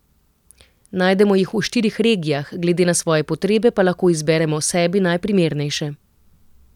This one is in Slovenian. Najdemo jih v štirih regijah, glede na svoje potrebe pa lahko izberemo sebi najprimernejše.